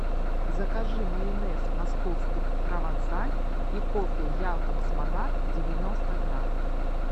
закажи майонез московский провансаль и кофе якобс монарх девяносто грамм